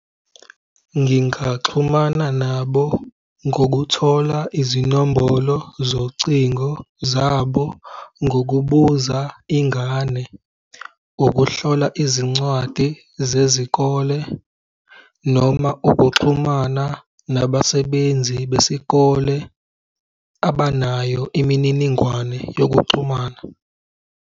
Ngingaxhumana nabo ngokuthola izinombolo zocingo zabo ngokubuza ingane, ukuhlola izincwadi zezikole noma ukuxhumana nabasebenzi besikole abanayo imininingwane yokuxhumana.